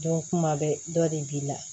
Dɔ kuma bɛ dɔ de b'i la